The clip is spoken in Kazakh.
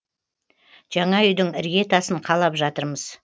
жаңа үйдің ірге тасын қалап жатырмыз